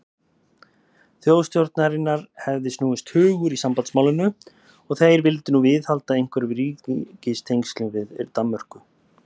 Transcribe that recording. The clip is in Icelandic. Þjóðstjórnarinnar hefði snúist hugur í sambandsmálinu, og þeir vildu nú viðhalda einhverjum ríkistengslum við Danmörku.